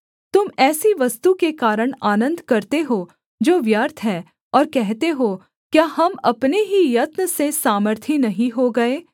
तुम ऐसी वस्तु के कारण आनन्द करते हो जो व्यर्थ है और कहते हो क्या हम अपने ही यत्न से सामर्थी नहीं हो गए